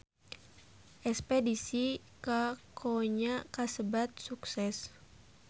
Espedisi ka Konya kasebat sukses